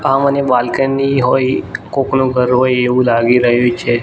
આ મને બાલ્કની હોય કોકનુ ઘર હોય એવુ લાગી રહ્યુ છે.